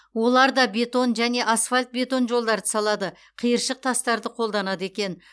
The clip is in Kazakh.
олар да бетон және асфальт бетон жолдарды салады қиыршық тастарды қолданады екен